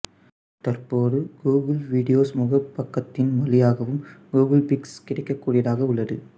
தற்போது Google videos முகப்புபக்கத்தின் வழியாகவும் கூகுள் பிக்ஸ் கிடைக்கக்கூடியதாக உள்ளது